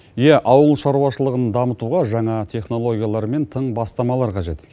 ия ауыл шаруашылыған дамытуға жаңа технологиялар мен тың бастамалар қажет